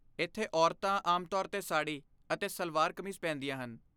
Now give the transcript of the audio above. ਇੱਥੇ, ਔਰਤਾਂ ਆਮ ਤੌਰ 'ਤੇ ਸਾੜੀ ਅਤੇ ਸਲਵਾਰ ਕਮੀਜ਼ ਪਹਿਨਦੀਆਂ ਹਨ।